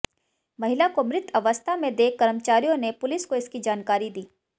महिला को मृत अवस्था में देख कर्मचारियों ने पुलिस को इसकी जानकारी दी